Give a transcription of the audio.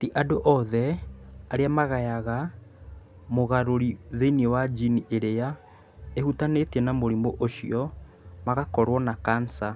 Ti andũ othe arĩa magayaga mũgarũri thĩinĩ wa jini ĩrĩa ĩhutanĩtie na mũrimũ ũcio magakorũo na kansa.